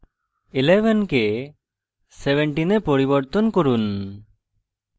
11 কে 17 এ পরিবর্তন করুন